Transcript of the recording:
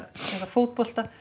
fótbolta